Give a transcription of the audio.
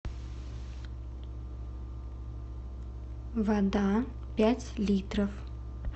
вода пять литров